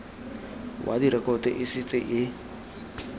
wa direkoto e setse e